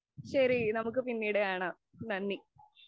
ശരി, നമുക്ക് പിന്നീടു കാണാം. നന്ദി.